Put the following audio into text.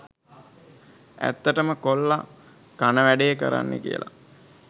ඇත්තටම කොල්ල කන වැඩේ කරන්නේ කියල